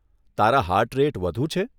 તારા heart rate વધુ છે?